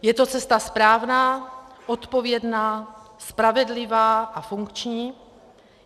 Je to cesta správná, odpovědná, spravedlivá a funkční.